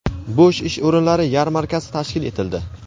bo‘sh ish o‘rinlari yarmarkasi tashkil etildi.